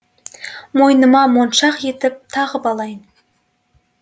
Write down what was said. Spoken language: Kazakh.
мойныма моншақ етіп тағып алайын